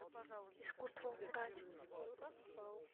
искусство умирать